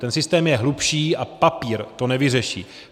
Ten systém je hlubší a papír to nevyřeší.